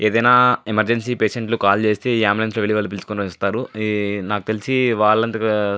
ఏదయినా emergency patients లు call చేస్తే ఈ అంబులెన్సు లో వెళ్లి వాళ్ళు పిలుచుకొని వస్తారు. నాకు తెలిసి వాళ్ళు --